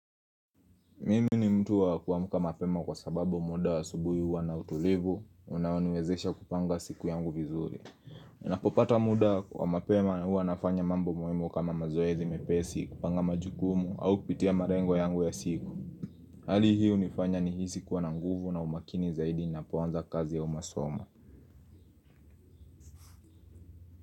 Mimi ni mtu wa kuamka mapema kwa sababu muda wa asubuhi huwa na utulivu Unaoniwezesha kupanga siku yangu vizuri Napopata muda wa mapema huwa nafanya mambo muhimu kama mazoezi mepesi kupanga majukumu au kupitia malengo yangu ya siku Hali hii hunifanya nihisi kuwa na nguvu na umakini zaidi ninapoanza kazi ya au masomo.